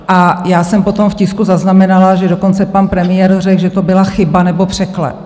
A já jsem potom v tisku zaznamenala, že dokonce pan premiér řekl, že to byla chyba nebo překlep.